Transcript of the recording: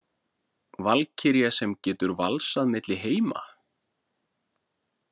Valkyrja sem getur valsað milli heima?